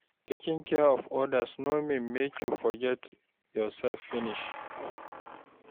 Taking care of others no mean make you forget yourself finish.